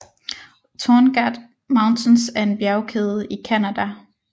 Torngat Mountains er en bjergkæde i Canada